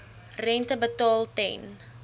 rente betaal ten